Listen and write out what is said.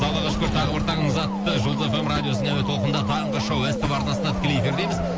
аллаға шүкір тағы бір таңымыз атты жұлдыз эф эм радиосының әуе толқынында таңғы шоу ств арнасында тікелей эфирдеміз